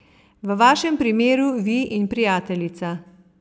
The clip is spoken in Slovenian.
V vašem primeru vi in prijateljica.